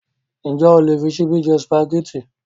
Ǹjẹ́ o lè fí ṣíbí jẹ Sùpàgẹ́tì?